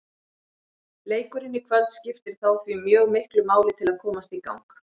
Leikurinn í kvöld skiptir þá því mjög miklu máli til að komast í gang.